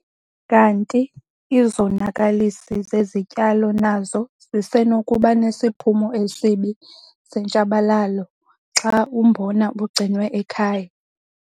Kanti izonakalisi zezityalo nazo zisenokuba nesiphumo esibi sentshabalalo xa umbona ugcinwe ekhaya.